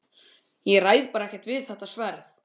Ég ræð bara ekkert við þetta sverð!